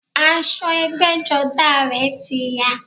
Aṣọ ẹgbẹ́jọdá a rẹ̀ ti ya